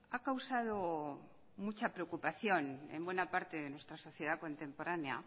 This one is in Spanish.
ha causado mucha preocupación en buena parte de nuestra sociedad contemporánea